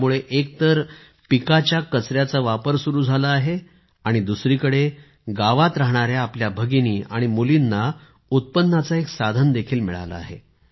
यामुळे एक तर पिकांचा कचर्याचा वापर सुरू झाला आहे आणि दुसरीकडे गावात राहणाऱ्या आपल्या भगिनी आणि मुलींना उत्पन्नाचे एक साधन देखील मिळाले आहे